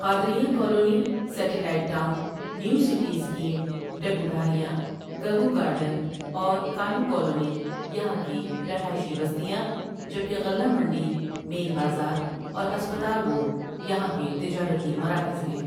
قادریہ colony, satellite town, new city scheme, ڈگوڈھاریاں، Gaggu garden اور Kalu colony یہاں کی رہائشی بستیاں جبکہ غلہ منڈی، مین بازار اور ہسپتال روڈ یہاں کے تجارتی مراکز ہیں ۔